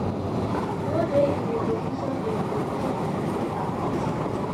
no dey in a position a position to give her consent.